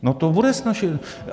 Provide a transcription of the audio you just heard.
No to bude snazší.